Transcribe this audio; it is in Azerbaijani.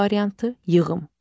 C variantı: yığım.